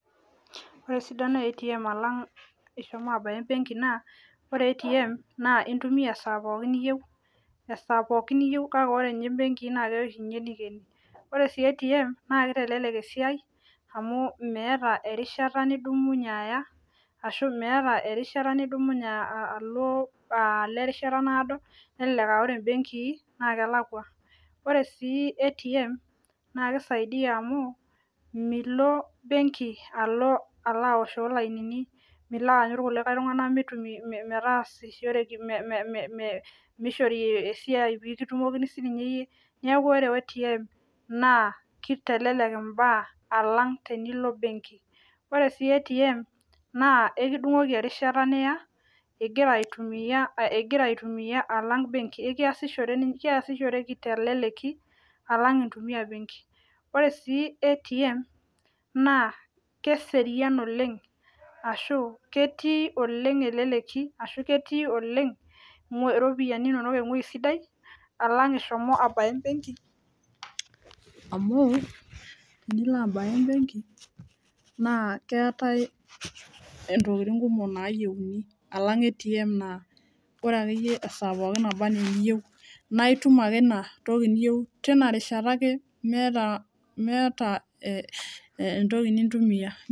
Ore esidano e ATM eitu ilo abaya embenki naa ore ATM naa intumiya esaa pookin niyieu kake ore ninye imbeekii naa keya oshi neikeni ore oshi ATM naa keitelelek esiai amu meeta erishata nidumunye aaya ashu. meeta erishata nifumunye alo ashuu meeta erishata naado nelelek aa ore embenki naa kelakua ore sii ATM naa keisaidia amu milo benki aloaoshoo ilainini milo aanyu irkulikae tung'anak metaasishoreki mishori esiai peeitumokini sii ninye iyie neeku ore ATM naa keitelelek imbaa alang tenilo benki ore sii ATM naa ekidung'oki erishata niya igira aitumiya alang benki ekiyashishoree teleleki alang intumiya benki ore sii ATM naa keserian oleng ashuu ketii oleng elekeki ashu ketii oleng iropiyiani naayieuni alang ATM naa ore akeyie esaa pookin nabanaa eniyieu naa itum ake ina toki niyieu tina rishata ake meeta entoki nitumiya.